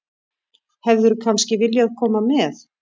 Hefðirðu kannski viljað koma með?